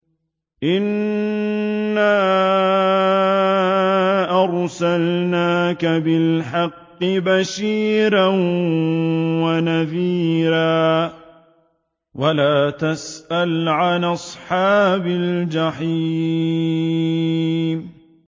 إِنَّا أَرْسَلْنَاكَ بِالْحَقِّ بَشِيرًا وَنَذِيرًا ۖ وَلَا تُسْأَلُ عَنْ أَصْحَابِ الْجَحِيمِ